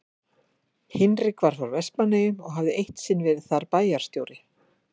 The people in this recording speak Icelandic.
Hinrik var frá Vestmannaeyjum og hafði eitt sinn verið þar bæjarstjóri.